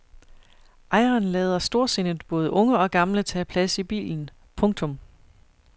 Ejeren lader storsindet både unge og gamle tage plads i bilen. punktum